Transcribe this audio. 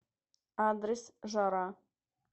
адрес жара